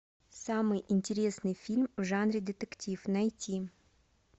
самый интересный фильм в жанре детектив найти